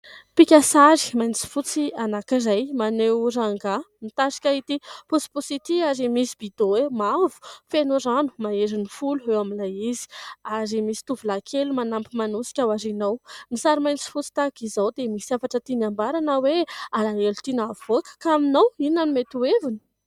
mpikasary mainty sy fotsy anankiray maneho rangahy mitarika ity posiposity ary misy bido mavo fenorano mahery ny folo eo amin'ilay izy ary misy tovolahy kely manampy manosika ao aoriana ao ;ny sary mainty sy fotsy tahaka izao dia misy hafatra tiana ambara na hoe alahelo tiana havoaka ka aminao inona no mety heviny?